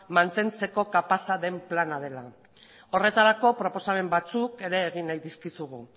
mantentzeko kapaza den plana dela horretarako proposamen batzuk ere egin nahi dizkizugu